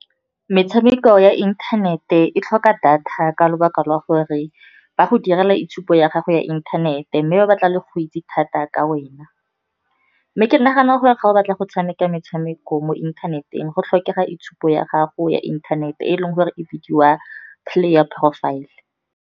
Metshameko ya inthanete e tlhoka data ka lebaka la gore ba go direla itshupo ya gago ya inthanete, mme ba batla go itse thata ka wena. Mme ke nagana gore ga o batla go tshameka metshameko mo inthaneteng, go tlhokega itshupo ya gago ya inthanete, e leng gore e bidiwa player profile.